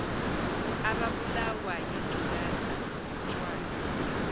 ababulawa yingculaza utshwala